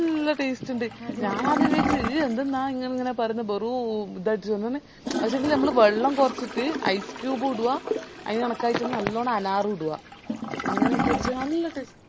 നല്ല taste ഇണ്ട് ഞാനാദ്യം വിചാരിച്ചു ഈ എന്തിന്ന ഇങ്ങനെ പറേന്ന് ബെറു ഇതാരിക്കു ആയിന്റുള്ളില് ബെള്ളം കൊറച്ചിറ്റ് ice cube ഉം ഇടുവ അതിന് കണക്കായിറ്റന്നെ നല്ലണം അനാറു ഇടുവാ അങ്ങനെ ഇട്ട് അടിച്ച നല്ല ടെ